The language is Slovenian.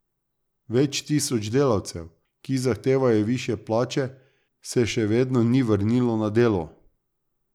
Več tisoč delavcev, ki zahtevajo višje plače, se še vedno ni vrnilo na delo.